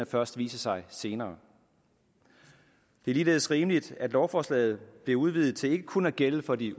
først viser sig senere det er ligeledes rimeligt at lovforslaget bliver udvidet til ikke kun at gælde for de